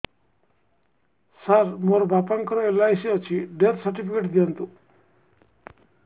ସାର ମୋର ବାପା ଙ୍କର ଏଲ.ଆଇ.ସି ଅଛି ଡେଥ ସର୍ଟିଫିକେଟ ଦିଅନ୍ତୁ